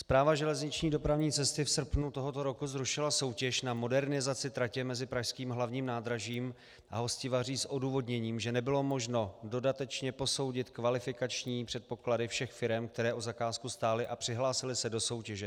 Správa železniční dopravní cesty v srpnu tohoto roku zrušila soutěž na modernizaci tratě mezi pražským Hlavním nádražím a Hostivaří s odůvodněním, že nebylo možno dodatečně posoudit kvalifikační předpoklady všech firem, které o zakázku stály a přihlásily se do soutěže.